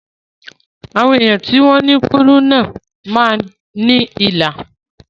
Àwọn èèyàn tó ní kúrúnà máa ní ilà